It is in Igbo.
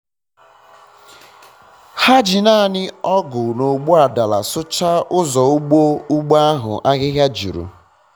ha ji naanị ọgụ na ogbuadala sụcha ụzọ ugbo ugbo ahụ ahịhịa juru